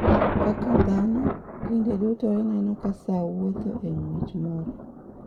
Kaka dhano, kinde duto ineno ka saa wuotho e ng’wech moro.